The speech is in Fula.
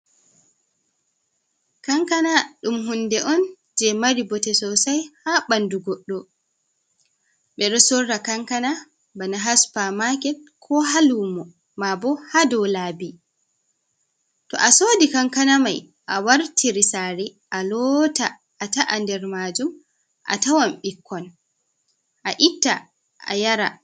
Kankana ɗum hunde’on je mari bote sosai ha ɓanɗu goɗɗo, ɓeɗo sora kankana ba na ha supa maket, ko ha lumo, ma bo ha dou labi, to a sodi kankana mai a watiri sare a lota a ta’a nder majum a tawon ɓikkon a itta a yara.